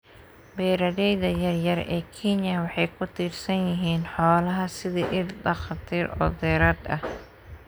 Beeralayda yar yar ee Kenya waxay ku tiirsan yihiin xoolaha sidii il dakhli oo dheeraad ah.